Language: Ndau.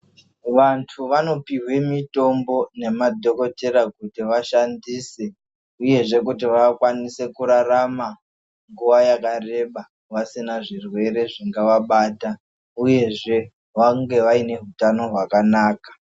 Vantu vanopihwa mitombo nemadhokodhera kuti vashandise uyezve kuti vakwanise kurarama nguva yakareba vasina zvirwere zvingawabata uyezve vange vaune hutano hwakanaka.